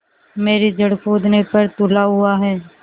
मेरी जड़ खोदने पर तुला हुआ है